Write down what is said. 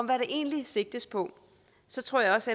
der egentlig sigtes på så tror jeg også